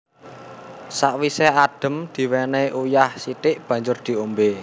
Sawise adhem diwenehi uyah sithik banjur diombe